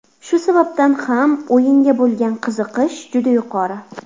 Shu sababdan ham o‘yinga bo‘lgan qiziqish juda yuqori.